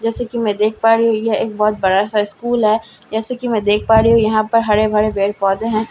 जैसे की मै देख पा रही हू यह एक बहोत बड़ा सा स्कूल है जैसे कि मै देख पा रही हू यहां पर हरे भरे पेड़ पौधे है।